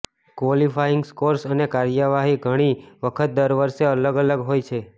qualifying scores અને કાર્યવાહી ઘણી વખત દર વર્ષે અલગ અલગ હોય છે